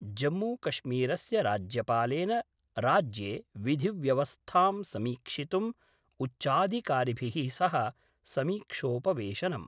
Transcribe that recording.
जम्मूकश्मीरस्य राज्यपालेन राज्ये विधिव्यवस्थां समीक्षितुम् उच्चाधिकारिभिः सह समीक्षोपवेशनम्